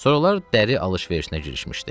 Sonralar dəri alış-verişinə girişmişdi.